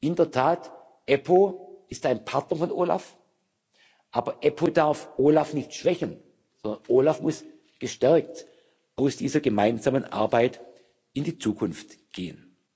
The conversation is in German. In der Tat EPPO ist ein Partner des OLAF, aber EPO darf OLAF nicht schwächen, sondern OLAF muss gestärkt aus dieser gemeinsamen Arbeit in die Zukunft gehen.